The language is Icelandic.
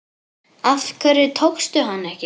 Af hverju tókstu hana ekki?